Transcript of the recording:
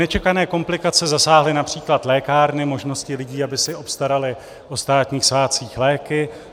Nečekané komplikace zasáhly například lékárny, možnosti lidí, aby si obstarali o státních svátcích léky.